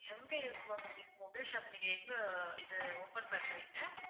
எங்க இருக்கு ma'am உங்களுக்கு mobile shop நீங்க எங்க இது open பண்றீங்க